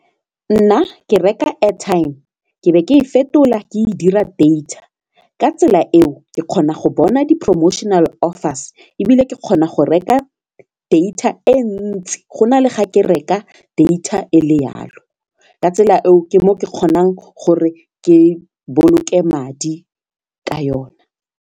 Nna ke reka airtime ke be ke e fetola ke be ke e fetola ke e dira data ka tsela eo ke kgona go bona di professional offeres ebile ke kgona go reka data e ntsi go na le ga ke reka data e le yalo ka tsela eo ke mo ke kgonang gore ke boloke madi ka yona.